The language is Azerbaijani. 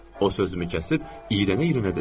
O sözümü kəsib iyrənə-iyrənə dedi.